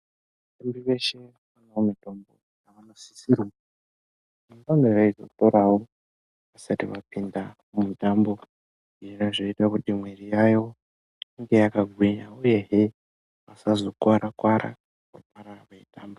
Muntu weshe une mitombo inosisire kuti ange eizoporawo asaita matenda mumitambo zvona zvaiita kuti mwiri yavo inge yakagwinya uyehe asazokuwara kuwara pavanenge veitamba.